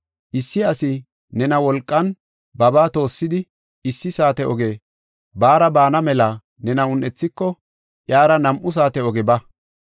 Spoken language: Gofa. Issi asi nena wolqan babaa toossidi issi saate oge baara baana mela nena un7ethiko, iyara nam7u saate oge ba.